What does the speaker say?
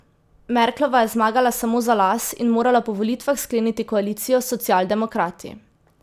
Merklova je zmagala samo za las in morala po volitvah skleniti koalicijo s socialdemokrati.